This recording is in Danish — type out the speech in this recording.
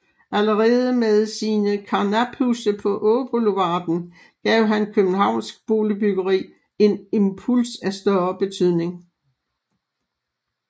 Allerede med sine karnaphuse på Åboulevarden gav han københavnsk boligbyggeri en impuls af største betydning